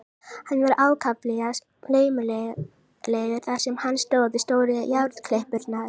Hann var ákaflega laumulegur þar sem hann stóð við stóru járnklippurnar.